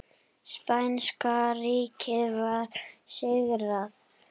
Spænska ríkið var sigrað.